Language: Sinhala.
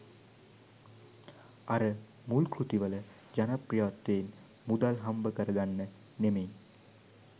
අර මුල් කෘතිවල ජනප්‍රියත්වයෙන් මුදල් හම්බකරගන්න නෙමෙයි.